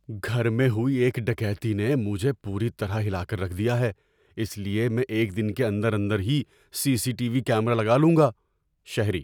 گھر میں ہوئی ایک ڈکیتی نے مجھے پوری طرح ہلا کر رکھ دیا ہے، اس لیے میں ایک دن کے اندر اندر ہی CCTV camera لگا لوں گا۔ (شہری)